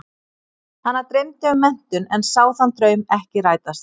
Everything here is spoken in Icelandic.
Hana dreymdi um menntun en sá þann draum ekki rætast.